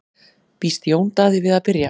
Býst Jón Daði við að byrja?